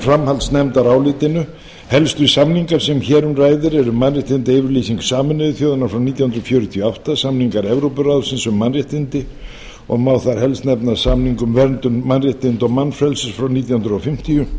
framhaldsnefndarálitinu helstu samningar sem hér um ræðir eru mannréttindayfirlýsing sameinuðu þjóðanna frá nítján hundruð fjörutíu og átta samningar evrópuráðsins um mannréttindi og má þar helst nefna samning um verndun mannréttinda og mannfrelsis frá nítján hundruð fimmtíu